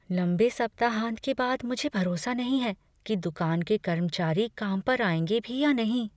लंबे सप्ताहांत के बाद मुझे भरोसा नहीं है कि दुकान के कर्मचारी काम पर आएंगे भी या नहीं।